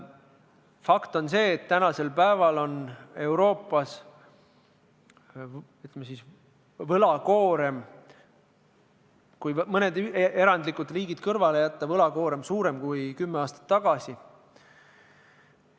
Fakt on see, et praegu on Euroopas võlakoorem – kui mõned erandlikud riigid kõrvale jätta – suurem kui kümme aastat tagasi.